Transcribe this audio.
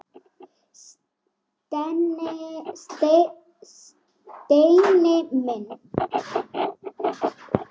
Steini minn.